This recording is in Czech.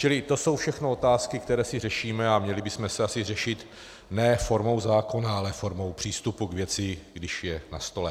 Čili to jsou všechno otázky, které si řešíme, a měli bychom si asi řešit ne formou zákona, ale formou přístupu k věci, když je na stole.